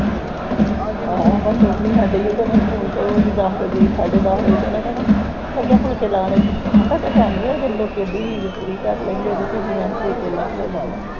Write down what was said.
ਹਾਂ ਅਮਨ ਨੂੰ ਫੋਨ ਲਾਇਆ ਉਹਦੇ ਅਮਨ ਫੋਨ ਕਰੂ ਗੀ ਦੱਸ ਵਜੇ ਸਾਡੇ ਦੱਸ ਵਜੇ ਤਕ ਤੇ ਓਹਨੇ ਕਹਿਣਾ ਲੱਗੇ ਹਾਂ ਫੁਲਕੇ ਲਾਣ ਮੈਂ ਕਿਹਾ time ਨੀ ਹੈਗਾ ਆ ਲੋਕੀ ਅੱਧੀ ਨੀਂਦ ਪੂਰੀ ਕਰ ਲੈਂਦੇ ਤੇ ਤੁਸੀ ਮੈ ਕਿਹਾ ਫੁਲਕੇ ਲਾਣ ਲੱਗਦੀਆਂ ਹੋ